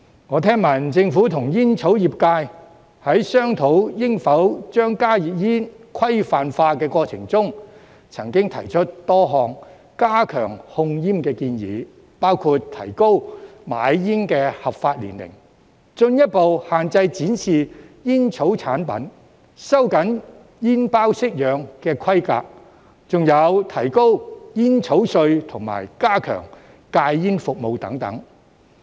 我聽聞政府和煙草業界在商討應否將加熱煙規範化的過程中，曾經提出多項加強控煙的建議，包括提高買煙的合法年齡、進一步限制展示煙草產品、收緊煙包式樣的規格，還有提高煙草稅及加強戒煙服務等。